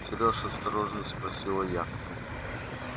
сереж осторожно спросила я